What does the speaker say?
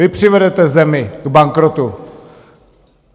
Vy přivedete zemi k bankrotu!